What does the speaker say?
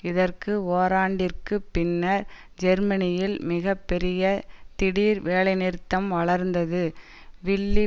இதற்கு ஒராண்டிற்கு பின்னர் ஜெர்மனியில் மிக பெரிய திடீர் வேலைநிறுத்தம் வளர்ந்தது வில்லி